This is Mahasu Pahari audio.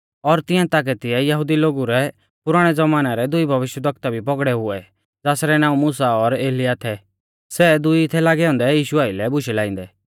और तिंआ ताकै तिऐ यहुदी लोगु रै पुराणै ज़मानै रै दुई भविष्यवक्ता भी पौगड़ौ हुऐ ज़ासरै नाऊं मुसा और एलियाह थै सै दुई थै लागै औन्दै यीशु आइलै बुशै लाइंदै